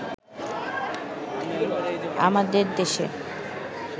আমাদের দেশে